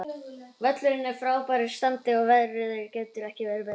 Völlurinn er í frábæru standi og veðrið gæti ekki verið betra.